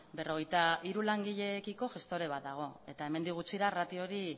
berrogeita hiru langileekiko gestore bat dago eta hemendik gutxira ratio hori